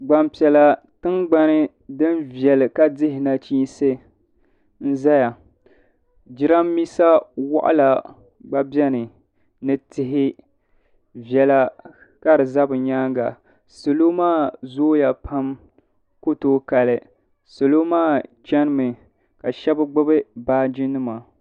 Gbampiɛla tingbani din viɛli ka dihi nachiinsi n-zaya jirambiisa waɣila gba beni ni tihi viɛla ka di za bɛ nyaaŋa salo maa zooya pam ku tooi Kali salo maa chanimi ka shɛba gbubi baajinima.